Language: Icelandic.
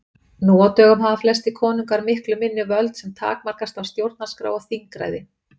Nú á dögum hafa flestir konungar miklu minni völd sem takmarkast af stjórnarskrá og þingræði.